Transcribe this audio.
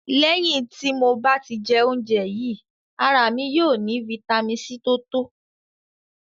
Lẹ̀hin ti mo bá tì jẹ̀ ọ̀unjè yìí, ara mi yóò ni fítamì C tó tọ̀